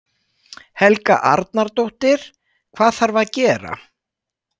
Helga Arnardóttir: Hvað þarf að gera?